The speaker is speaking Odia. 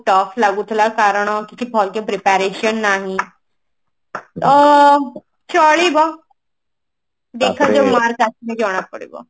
tough ଲାଗୁଥିଲା କାରଣ କିଛି ଭଲ କି preparation ନାହିଁ ଅ ଚଳିବ ଦେଖା ଯାଉ mark ଆସିଲେ ଜଣା ପଡିବ